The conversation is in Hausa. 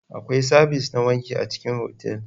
Akwai sabis na wanki a cikin otal.